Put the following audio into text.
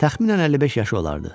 Təxminən 55 yaşı olardı.